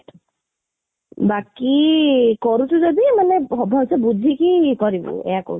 ବାକି କରୁଛୁ ଯଦି ମାନେ ଭଲସେ ବୁଝିକି କରିବୁ ଏଇଆ କହୁଛି